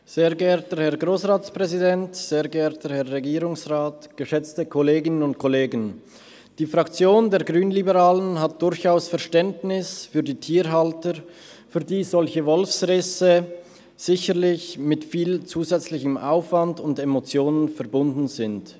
Die Fraktion der Grünliberalen hat durchaus Verständnis für die Tierhalter, für die solche Wolfsrisse sicherlich mit viel zusätzlichem Aufwand und Emotionen verbunden sind.